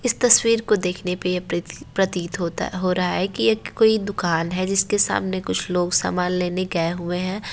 इस तस्वीर को देखने पे ये प्रत -प्रतित होता हो रहा है कि ये कोई दुकान है जिसके सामने कुछ लोग सामान लेने गए हुए है।